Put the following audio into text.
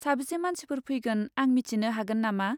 साबेसे मानसिफोर फैगोन आं मिथिनो हागोन नामा?